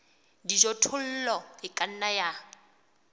dijothollo e ka nna ya